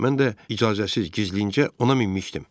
Mən də icazəsiz gizlincə ona minmişdim.